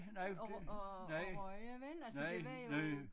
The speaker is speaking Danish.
At at at ryge vel altså det var jo